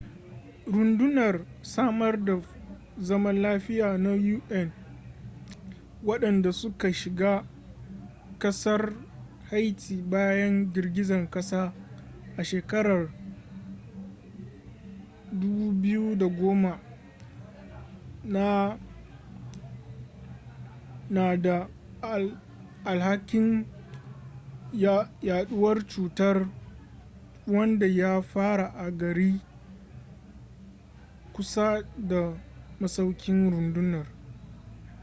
rundunar samar da zaman lafiya na un wadanda suka shiga kasar haiti bayan girgizan kasa a shekarar 2010 na da alhakin yaduwar cutar wanda ya fara a gari kusa da masaukin rundunar